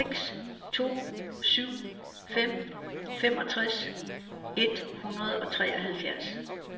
seks to syv fem femogtres et hundrede og treoghalvfjerds